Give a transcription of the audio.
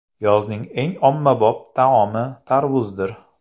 Yozning eng ommabop taomi tarvuzdir.